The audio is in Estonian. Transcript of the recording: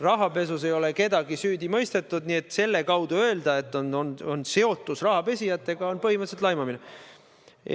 Rahapesus ei ole kedagi süüdi mõistetud, mistõttu öelda, et on olnud seotus rahapesijatega, on põhimõtteliselt laimamine.